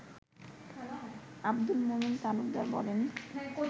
আব্দুল মোমিন তালুকদার বলেন